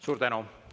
Suur tänu!